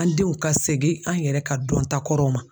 An denw ka segin an yɛrɛ ka dɔnta kɔrɔw ma.